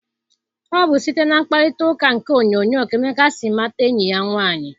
Ọ bụ site na mkparitauka nke onyoonyo ka Emeka si mata enyi ya nwaanyị.